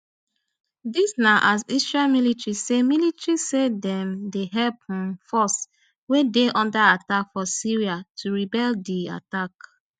dis na as israel military say military say dem dey help un forces wey dey under attack for syria to repel di attack